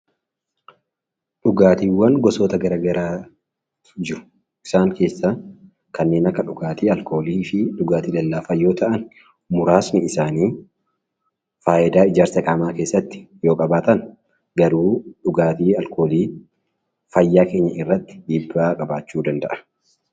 Dhugaatiiwwan gosoota garaagaraatu jiru. Isaan keessaa kanneen Akka dhugaatii alkoolii fi dhugaatii lallaafaa yoo ta'an muraasni isaanii fayidaa ijaarsa qaamaa keessatti yoo qabaatan garuu dhugaatiin alkoolii fayyaa irratti dhiibbaa qabaachuu danda'a